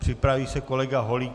Připraví se kolega Holík.